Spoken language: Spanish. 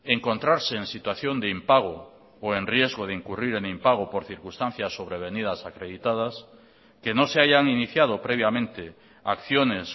encontrarse en situación de impago o en riesgo de incurrir en impago por circunstancias sobrevenidas acreditadas que no se hayan iniciado previamente acciones